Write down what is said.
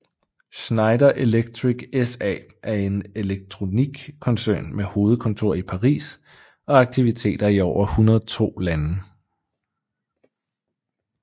Schneider Electric SA er en elektroteknikkoncern med hovedkontor i Paris og aktiviteter i over 102 lande